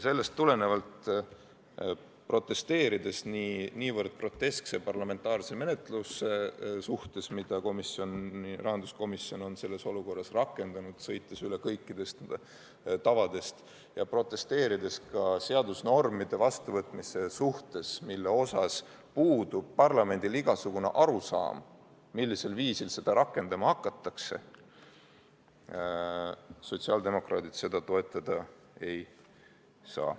Sellest tulenevalt, protesteerides niivõrd groteskse parlamentaarse menetluse vastu, mida rahanduskomisjon on selles olukorras rakendanud, sõites üle kõikidest tavadest, ja protesteerides ka seadusnormide vastuvõtmise vastu, mille kohta puudub parlamendil igasugune arusaam, millisel viisil neid rakendama hakatakse, sotsiaaldemokraadid seda toetada ei saa.